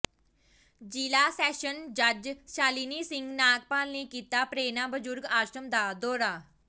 ਜ਼ਿਲ੍ਹਾ ਸੈਸ਼ਨ ਜੱਜ ਸ਼ਾਲਿਨੀ ਸਿੰਘ ਨਾਗਪਾਲ ਨੇ ਕੀਤਾ ਪ੍ਰੇਰਣਾ ਬਜ਼ੁਰਗ ਆਸ਼ਰਮ ਦਾ ਦੌਰਾ